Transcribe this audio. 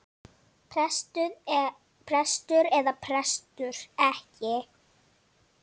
Prestur eða prestur ekki.